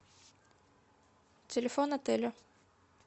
телефон отеля